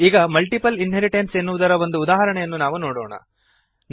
ಈಗ multiple inheritance ಎನ್ನುವುದರ ಒಂದು ಉದಾಹರಣೆಯನ್ನು ನಾವು ನೋಡೋಣ